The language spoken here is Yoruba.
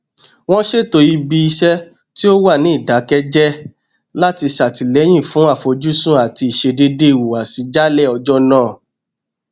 oyeyèmí ṣàlàyé pé d-c-o tẹsán náà a-d-c augustine ogbeche làwọn tó fa rògbòdìyàn náà pa